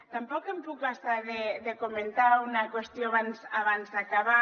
tampoc em puc estar de comentar una qüestió abans d’acabar